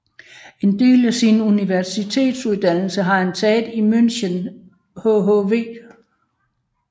En del af sin universitetsuddannelse har han taget i München hhv